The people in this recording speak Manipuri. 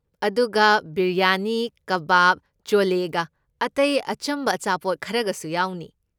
ꯑꯗꯨꯒ, ꯕꯤꯔꯌꯥꯅꯤ, ꯀꯕꯥꯕ, ꯆꯣꯂꯦꯒ ꯑꯇꯩ ꯑꯆꯝꯕ ꯑꯆꯥꯄꯣꯠ ꯈꯔꯒꯁꯨ ꯌꯥꯎꯅꯤ꯫